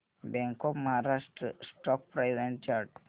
bank of Maharashtra stock price and chart